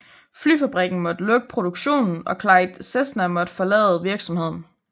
Flyfabrikken måtte lukke produktionen og Clyde Cessna måtte forlade virksomheden